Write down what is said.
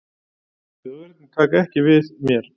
Þjóðverjarnir taka ekki við mér.